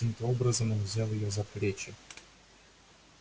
каким то образом он взял её за плечи